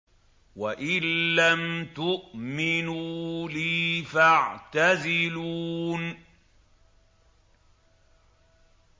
وَإِن لَّمْ تُؤْمِنُوا لِي فَاعْتَزِلُونِ